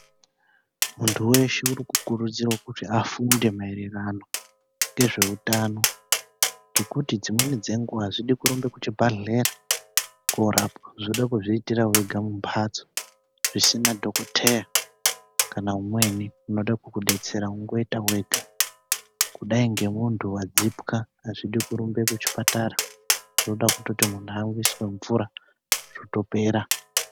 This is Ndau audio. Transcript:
Muntu weshe uri kukurudzirwe kuti afunde maererano ngezveutano ngekuti dzimweni dzenguwa azvidi kurumbe kuchibhadhlera korapwa zvoda kuzviitira wega mumphatso zvisina dhokoteya kana umweni unoda kukudetsera wongoita wega kudai ngemuntu wadzipwa azvidi kurumbe kuchipatara zvoda kuti muntu amwiswe mvura zvotopera.